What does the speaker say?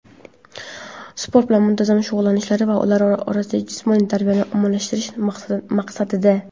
sport bilan muntazam shug‘ullanishlari va ular orasida jismoniy tarbiyani ommalashtirish maqsadida!.